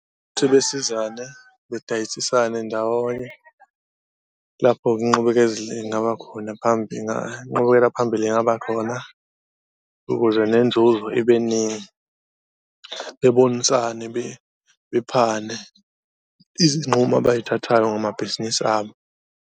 Ukuthi besizane bedayisisane ndawonye lapho-ke inqubekela phambili ingaba khona ukuze nenzuzo ibe ningi, bebonisane, bephane izinqumo abayithathayo ngamabhizinisi abo.